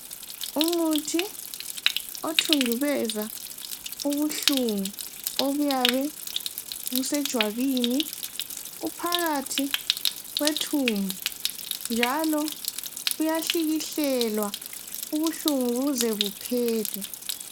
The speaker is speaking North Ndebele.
Umuthi othundubeza ubuhlungu obuyabe busejwabini uphakathi kwethumbu njalo uyahlikihlelwa ubuhlungu buze buphele.